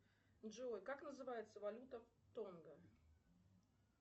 джой как называется валюта в тонго